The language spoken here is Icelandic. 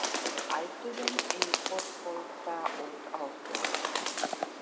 Við ætluðum í fótbolta út á Tún.